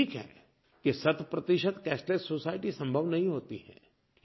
ये ठीक है कि शतप्रतिशत कैशलेस सोसाइटी संभव नहीं होती है